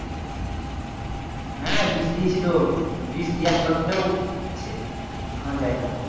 হ্যাঁ বিষ দিয়েছি তো বিষ দেওয়ার সত্তেও আছে এখনো যায়না